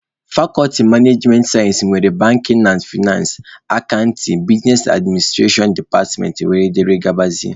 Fakọlti managemenị sayensị nwere banking na fainansị, akantịn, bisnes adminstrashọn departmentị wdg.